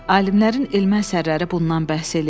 Alimlərin elmi əsərləri bundan bəhs eləyir.